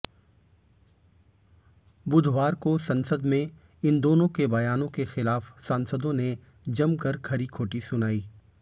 बुधवार को संसद में इन दोनों के बयानों के खिलाफ सांसदों ने जमकर खरीखोटी सुनाई